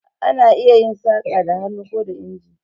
Ana iya yin saƙa da hannu ko da inji.